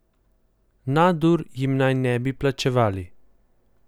Nadur jim naj ne bi plačevali.